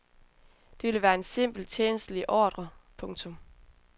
Det vil være en simpel tjenstlig ordre. punktum